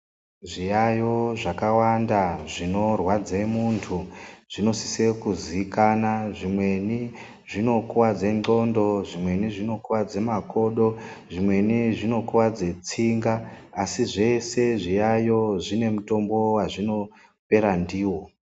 Zviyayo zvakawanda zvinorwadza muntu, zvinosise kuzikana ,zvimweni zvinokuwadze ndxondo, zvimweni zvinokuwadze makodo, zvimweni zvinokuwadze tsinga, asi zvese zviyayo zvine mutombo wazvinopera ndiwo.